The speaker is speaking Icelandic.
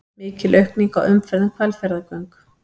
Mikil aukning á umferð um Hvalfjarðargöng